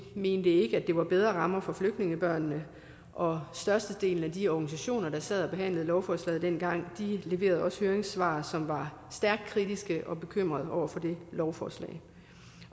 mente ikke at det var bedre rammer for flygtningebørnene og størstedelen af de organisationer der sad og behandlede lovforslaget dengang leverede også høringssvar som var stærkt kritiske og bekymrede over det lovforslag